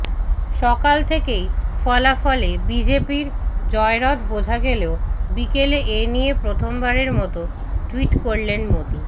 সকাল থেকেই ফলাফলে বিজেপির জয়রথ বোঝা গেলেও বিকেলে এ নিয়ে প্রথমবারের মতো টুইট করলেন মোদি